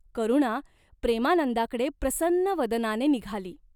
करुणा प्रेमानंदाकडे प्रसन्न वदनाने निघाली.